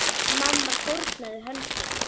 Mamma fórnaði höndum.